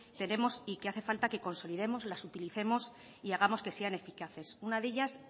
tenemos y que hace falta que consolidemos las utilicemos y hagamos que sean eficaces una de ellas